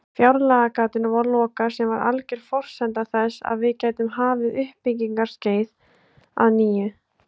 Fjárlagagatinu var lokað sem var alger forsenda þess að við gætum hafið uppbyggingarskeið að nýju.